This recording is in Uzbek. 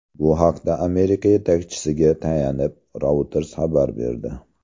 Bu haqda Amerika yetakchisiga tayanib, Reuters xabar berdi .